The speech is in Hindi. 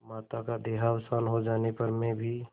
माता का देहावसान हो जाने पर मैं भी